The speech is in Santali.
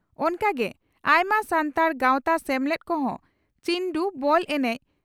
ᱚᱱᱠᱟᱜᱮ ᱟᱭᱢᱟ ᱥᱟᱱᱛᱟᱲ ᱜᱟᱚᱛᱟ ᱥᱮᱢᱞᱮᱫ ᱠᱚᱦᱚᱸ ᱪᱤᱱᱰᱩ (ᱵᱚᱞ) ᱮᱱᱮᱡ